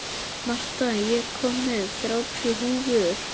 Marta, ég kom með þrjátíu húfur!